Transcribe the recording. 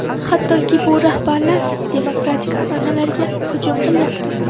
Hattoki, bu rahbarlar demokratik an’analarga hujum qilyapti.